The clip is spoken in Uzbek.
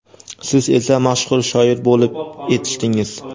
siz esa mashhur shoir bo‘lib etishdingiz.